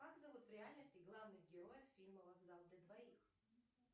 как зовут в реальности главных героев фильма вокзал для двоих